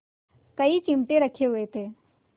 कई चिमटे रखे हुए थे